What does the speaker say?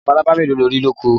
Labalábá mélòó lo rí lóko?